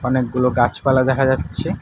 অনেকগুলো গাছপালা দেখা যাচ্ছে।